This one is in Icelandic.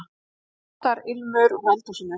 Matarilmur úr eldhúsinu.